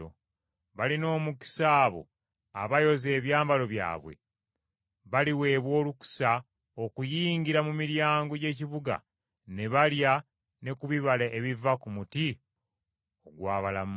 “Balina omukisa abo abayoza ebyambalo byabwe, baliweebwa obuyinza okuyingira mu miryango gy’ekibuga ne balya ne ku bibala ebiva ku muti ogw’obulamu.